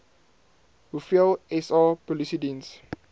hoeveel sa polisiediens